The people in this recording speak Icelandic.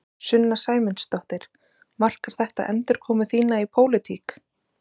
Sunna Sæmundsdóttir: Markar þetta endurkomu þína í pólitík?